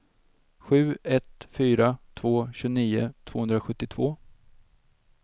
sju ett fyra två tjugonio tvåhundrasjuttiotvå